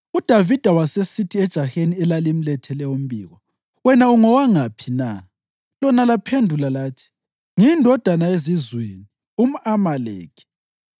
UDavida wasesithi ejaheni elalimlethele umbiko, “Wena ungowangaphi na?” Lona laphendula lathi, “Ngiyindodana yezizweni, umʼAmaleki.”